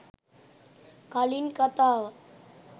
කලින් කතාව